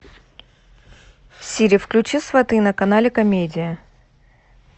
сири включи сваты на канале комедия